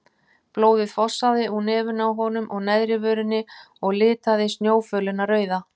Blóðið fossaði úr nefinu á honum og neðri vörinni og litaði snjófölina rauða.